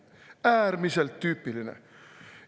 Äärmiselt tüüpiline!